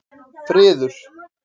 Friður